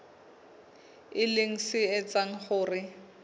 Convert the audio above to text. e leng se etsang hore